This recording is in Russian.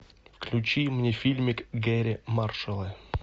включи мне фильмик гэрри маршалла